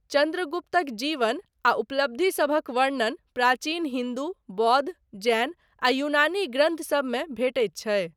चन्द्रगुप्तक जीवन आ उपलब्धिसभक वर्णन प्राचीन हिन्दू, बौद्ध, जैन आ यूनानी ग्रन्थसबमे भेटैत छै।